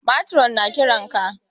Matron na ƙiran ka